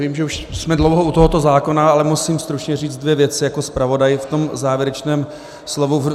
Vím, že jsme už dlouho u tohoto zákona, ale musím stručně říct dvě věci jako zpravodaj v tom závěrečném slovu.